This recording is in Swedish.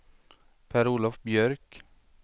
Per-Olof Björk